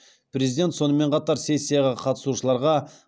президент сонымен қатар сессияға қатысушыларға